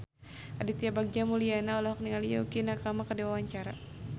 Aditya Bagja Mulyana olohok ningali Yukie Nakama keur diwawancara